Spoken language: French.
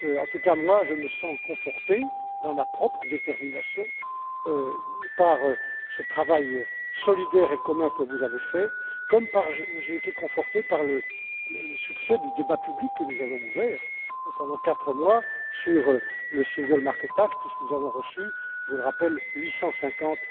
En tout cas, je me sens conforté dans ma propre détermination par ce travail solidaire et commun que vous avez fait, comme j'ai été conforté par le succès du débat public que nous avons ouvert pendant quatre mois sur le single market act puisque nous avons reçu, je le rappelle, 850